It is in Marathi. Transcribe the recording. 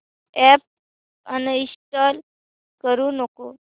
अॅप अनइंस्टॉल करू नको